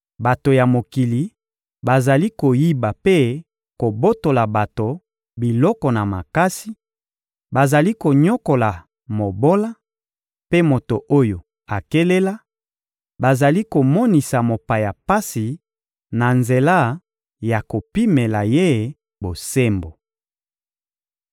Bato ya mokili bazali koyiba mpe kobotola bato biloko na makasi, bazali konyokola mobola mpe moto oyo akelela, bazali komonisa mopaya pasi na nzela ya kopimela ye bosembo.